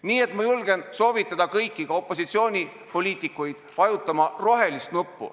Nii et ma julgustan kõiki, ka opositsioonipoliitikuid vajutama rohelist nuppu.